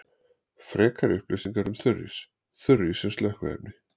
Frekari upplýsingar um þurrís: Þurrís sem slökkviefni.